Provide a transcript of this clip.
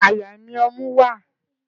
Àyà ni ọmú wá.